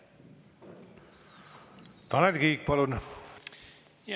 Tanel Kiik, palun!